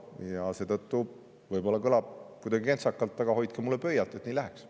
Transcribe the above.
Ja seetõttu võib-olla kõlab kuidagi kentsakalt, aga hoidke mulle pöialt, et nii läheks.